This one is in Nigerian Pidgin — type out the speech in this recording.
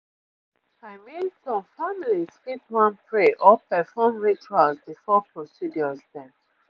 i mean some families fit wan pray or perform rituals before procedures dem